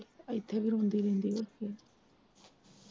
ਇੱਥੇ ਵੀ ਰੋਂਦੀ ਰਹਿੰਦੀ ਆ ਫਿਰ।